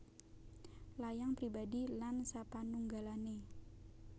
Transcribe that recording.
Layang Pribadi lan sapanunggalané